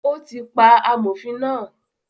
Ó ti pa “ amòfin” náà.